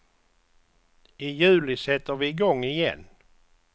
I juli sätter vi i gång igen.